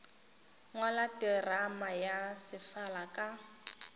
ngwala terama ya sefala ka